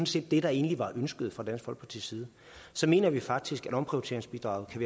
set det der egentlig var ønsket fra dansk folkepartis side så mener vi faktisk at omprioriteringsbidraget kan